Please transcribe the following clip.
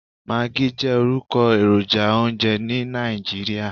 Maggi jẹ́ orúkọ èròjà oúnjẹ ní Nàìjíríà.